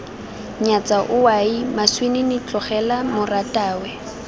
nyatsa owaii moswinini tlogela moratwe